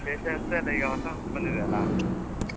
ವಿಶೇಷ ಎಂತ ಇಲ್ಲ, ಈಗ ಹೊಸ ವರ್ಷ ಬಂದಿದೆಯಲ್ಲ